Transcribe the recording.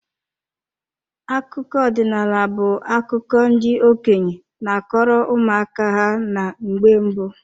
Akụkọ ọdinaala bu akụkọ ndị okenye n'akọrọ ụmụ aka ha na mgbe mbụ.